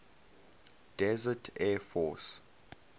desert air force